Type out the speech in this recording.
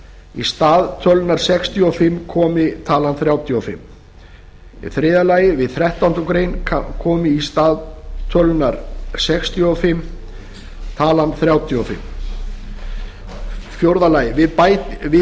í stað tölunnar sextíu og fimm í þriðja efnismgr komi þrítugasta og fimmta þriðja við þrettándu greinar í stað tölunnar sextíu og fimm í þriðja efnismgr komi þrítugasta og fimmta fjórða við